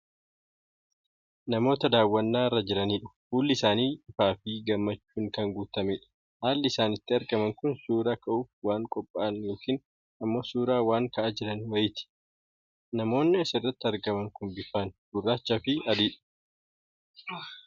Namoota dawwannaa irra jiranidha. Fuulli isaanii ifaafii gammachuun kan guutamedha. Haalli isaan itti argaman kun suura ka'uuf waan qophaa'an yookiin ammoo suura waan ka'aa jiran wayiitii. Namoonni asirratti argaman kun bifaan gurraacha fi adiidha.